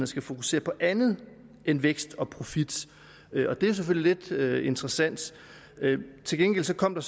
skal fokusere på andet end vækst og profit det er selvfølgelig lidt interessant til gengæld kom der